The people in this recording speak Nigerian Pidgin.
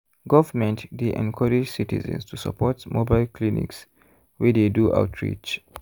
government dey encourage citizens to support mobile clinics wey dey do outreach.